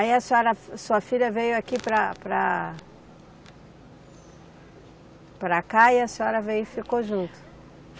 Aí a senhora, sua filha veio aqui para, para, para cá e a senhora veio e ficou junto.